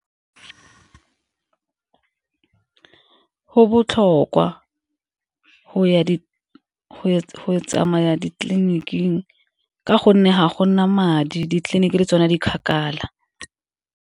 Go botlhokwa go tsamaya ditleliniking ka gonne ga go na madi, ditleliniki di tsona di kgakala.